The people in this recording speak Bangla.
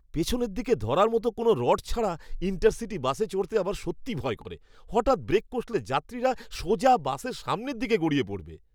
পিছনের দিকে ধরার মতো কোনও রড ছাড়া ইণ্টারসিটি বাসে চড়তে আমার সত্যিই ভয় করে। হঠাৎ ব্রেক কষলে যাত্রীরা সোজা বাসের সামনের দিকে গিয়ে পড়বে।